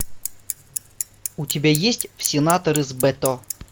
у тебя есть в сенаторы с бето